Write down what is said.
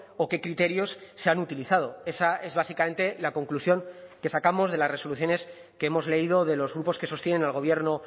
o qué criterios se han utilizado esa es básicamente la conclusión que sacamos de las resoluciones que hemos leído de los grupos que sostienen al gobierno